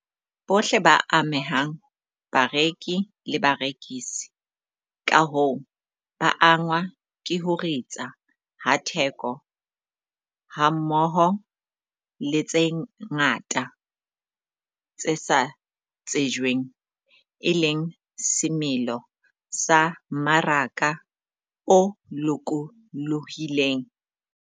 Bohle ba amehang, bareki le barekisi, ka hoo, ba angwa ke ho ritsa ha theko hammoho le tse ngata tse sa tsejweng, e leng semelo sa mmaraka o lokolohileng.